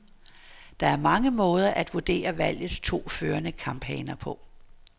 Der er mange måder at vurdere valgets to førende kamphaner på.